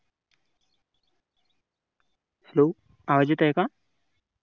Hello आवाज येत आहे का?